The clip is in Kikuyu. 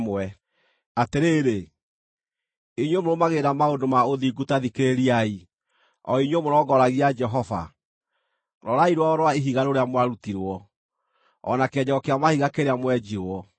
“Atĩrĩrĩ, inyuĩ mũrũmagĩrĩra maũndũ ma ũthingu ta thikĩrĩriai, o inyuĩ mũrongoragia Jehova: Rorai rwaro rwa ihiga rũrĩa mwarutirwo, o na kĩenjero kĩa mahiga kĩrĩa mwenjirwo;